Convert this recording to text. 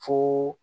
Fo